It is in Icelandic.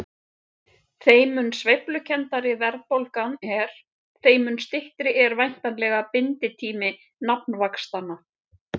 þeim mun sveiflukenndari verðbólgan er þeim mun styttri er væntanlega binditími nafnvaxtanna